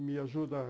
Me ajudar.